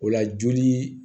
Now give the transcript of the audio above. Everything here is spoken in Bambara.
O la jolii